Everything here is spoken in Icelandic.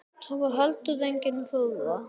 Það var heldur engin furða.